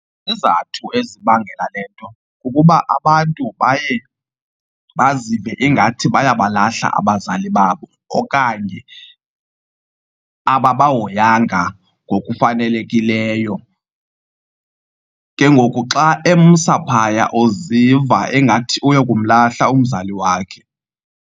Izizathu ezibangela le nto kukuba abantu baye bazive ingathi baya balahla abazali babo okanye ababahoyanga ngokufanelekileyo. Ke ngoku xa emsa phaya uziva engathi uyokumlahla umzali wakhe.